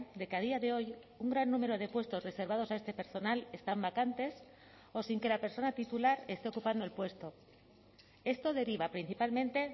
de que a día de hoy un gran número de puestos reservados a este personal están vacantes o sin que la persona titular esté ocupando el puesto esto deriva principalmente